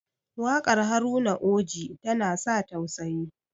wakar Haruna oji tana sa tausayi